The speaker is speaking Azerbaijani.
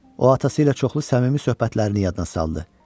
O atası ilə çoxlu səmimi söhbətlərini yadına saldı.